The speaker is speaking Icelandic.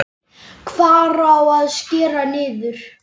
Hvar á að skera niður?